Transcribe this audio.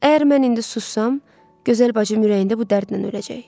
Əgər mən indi sussam, gözəl bacım ürəyində bu dərdlə öləcək.